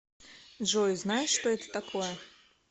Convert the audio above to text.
джой знаешь что это такое